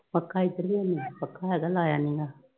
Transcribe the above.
ਪੱਖਾ ਇਧਰ ਵੀ ਹੈ ਨੀ। ਪੱਖਾ ਅਜੇ ਲਾਇਆ ਨੀ ਗਾ।